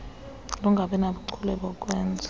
lungabi nabuchule bokwenza